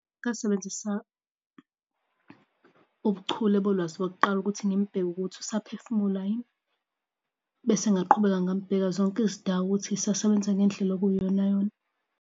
Ngasebenzisa ubuchule bolwazi lokuqala ukuthi ngimubheke ukuthi usaphefumula yini, bese ngaqhubeka ngamubheka zonke izindawo ukuthi zisasebenza ngendlela okuyiyonayona.